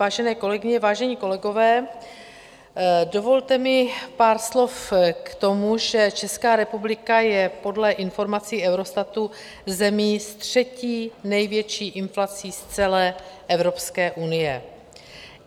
Vážené kolegyně, vážení kolegové, dovolte mi pár slov k tomu, že Česká republika je podle informací Eurostatu zemí s třetí největší inflací z celé Evropské unie.